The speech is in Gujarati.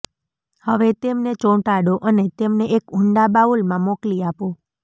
હવે તેમને ચોંટાડો અને તેમને એક ઊંડા બાઉલમાં મોકલી આપો